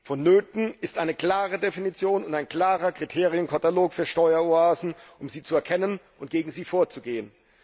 Vonnöten sind eine klare Definition und ein klarer Kriterienkatalog für Steueroasen, um sie zu erkennen und gegen sie vorzugehen.